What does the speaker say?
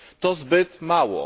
To zbyt mało.